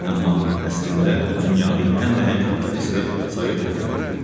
Amma əslində dünyanın ən nəhəng kapitalisti Sovet hökumətidir.